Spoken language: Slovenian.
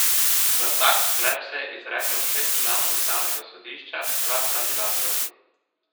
Za tak sklep se je izreklo šest članov ustavnega sodišča, dva sta bila proti.